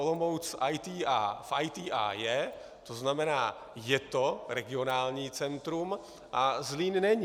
Olomouc v ITI je, to znamená je to regionální centrum, a Zlín není.